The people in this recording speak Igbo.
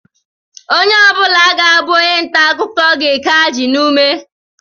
Onye ọ bụla ga-abụ onye ntaakụkọ ga-eke ajị n'ume